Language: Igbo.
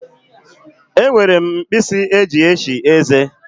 E nwere m mkpisi eji eshi eze.